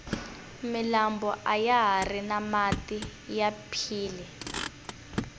milambo ayahari na mati ya phyile